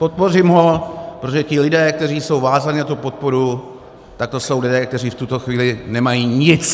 Podpořím ho, protože ti lidé, kteří jsou vázáni na tu podporu, tak to jsou lidé, kteří v tuto chvíli nemají nic.